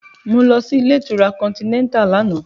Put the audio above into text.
Mo lọ sí ilé ìtura Continental lánàá